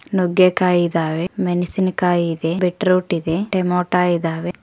ನುಗ್ಗೆಕಾಯಿ ಇದಾವೆ ಮೆಣಸಿನಕಾಯಿ ಇದೆ ಬೀಟ್ರೂಟ್ ಇದೆ ಟೆಮೊಟ ಇದಾವೆ.